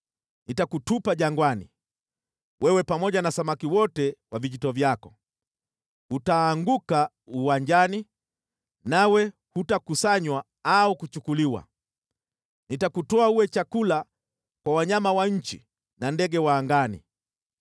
Nitakutupa jangwani, wewe pamoja na samaki wote wa vijito vyako. Utaanguka uwanjani, nawe hutakusanywa au kuchukuliwa. Nitakutoa uwe chakula kwa wanyama wa nchi na ndege wa angani.